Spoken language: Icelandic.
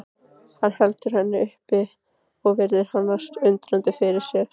Hann heldur henni upp og virðir hana undrandi fyrir sér.